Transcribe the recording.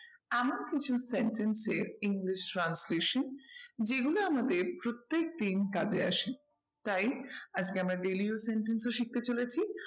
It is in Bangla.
এমন কিছু sentence যে english transcription যেগুলো আমাদের প্রত্যেকদিন কাজে আসে। তাই আজকে আমরা daily use sentence ও শিখতে চলেছি